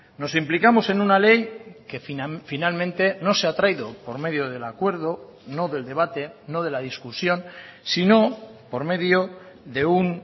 nos implicamos en una ley que finalmente no se ha traído por medio del acuerdo no del debate no de la discusión sino por medio de un